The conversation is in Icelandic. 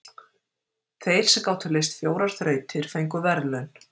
Þeir sem gátu leyst fjórar þrautir fengu verðlaun.